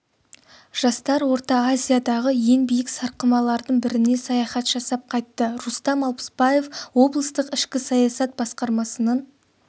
жастар орта азиядағы ең биік сарқырамалардың біріне саяхат жасап қайтты рустам алпысбаев облыстық ішкі саясат басқармасының